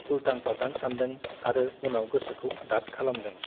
उल्टां - फाल्टां सानदों आरो उनाव गोसोखौ दात खालामदों ।